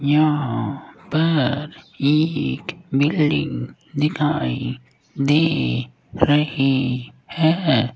यहां पर एक बिल्डिंग दिखाई दे रही है।